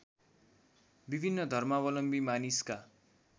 विभिन्न धर्मावलम्बी मानिसका